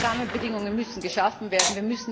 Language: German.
Diese Rahmenbedingungen müssen geschaffen werden.